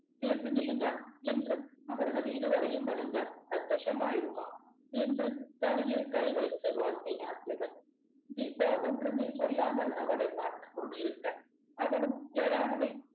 சேர்ந்து நில்லுங்க என்று அவர்கள் இருவரையும் வணங்க சந்தோஷமாயிருமா என்று தலையில் கை வைத்து வாழ்த்தினார் ஜெகா தீபா ஒன்றுமே சொல்லாமல் அவளை பார்த்துக் கொண்டிருக்க அவளும் எழா நிலை